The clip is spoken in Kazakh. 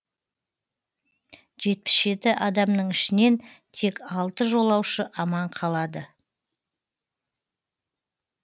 жетпіс жеті адамның ішінен тек алты жолуашы аман қалады